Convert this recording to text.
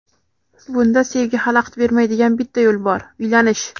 Bunda sevgi xalaqit bermaydigan bitta yo‘l bor — uylanish.